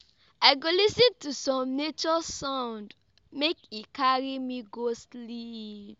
I go lis ten to some nature sound, make e carry me go sleep.